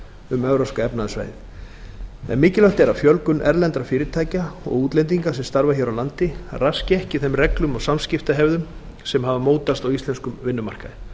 um evrópska efnahagssvæðið en mikilvægt er að fjölgun erlendra fyrirtækja og útlendinga sem starfa hér á landi raski ekki þeim reglum og samskiptahefðum sem hafa mótast á íslenskum vinnumarkaði